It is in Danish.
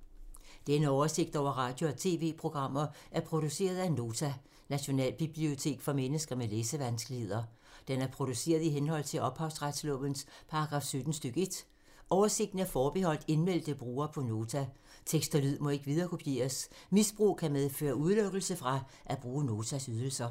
Denne oversigt over radio og TV-programmer er produceret af Nota, Nationalbibliotek for mennesker med læsevanskeligheder. Den er produceret i henhold til ophavsretslovens paragraf 17 stk. 1. Oversigten er forbeholdt indmeldte brugere på Nota. Tekst og lyd må ikke viderekopieres. Misbrug kan medføre udelukkelse fra at bruge Notas ydelser.